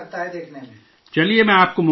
چلئے، میں آپ کو نیک خواہشات پیش کرتا ہوں